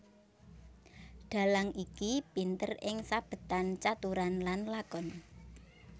Dhalang iki pinter ing sabetan caturan lan lakon